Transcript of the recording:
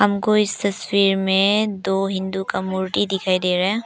हमको इस तस्वीर में दो हिंदू का मूर्ति दिखाई दे रहा है।